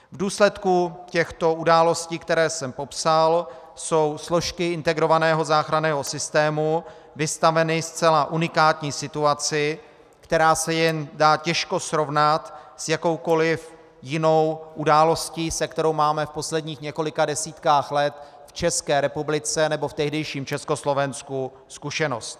V důsledku těchto událostí, které jsem popsal, jsou složky integrovaného záchranného systému vystaveny zcela unikátní situaci, která se dá jen těžko srovnat s jakoukoliv jinou událostí, se kterou máme v posledních několika desítkách let v České republice nebo v tehdejším Československu zkušenost.